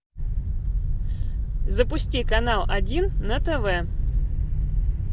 запусти канал один на тв